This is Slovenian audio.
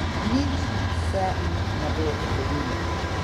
Nič se mi ne bo zgodilo.